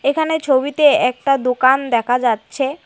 এখানে ছবিতে একটা দোকান দেখা যাচ্ছে।